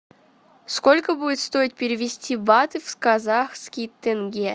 сколько будет стоить перевести баты в казахские тенге